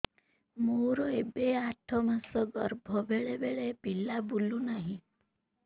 ମୋର ଏବେ ଆଠ ମାସ ଗର୍ଭ ବେଳେ ବେଳେ ପିଲା ବୁଲୁ ନାହିଁ